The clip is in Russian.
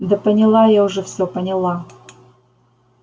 да поняла я уже всё поняла